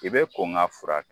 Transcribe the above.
I bɛ kɔn k'a furakɛ.